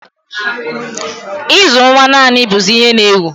Ịzụ nwa naanị bụzị ihe n'ewu